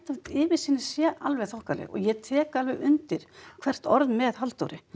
yfirsýnin sé alveg þokkaleg og ég tek alveg undir hvert orð með Halldóri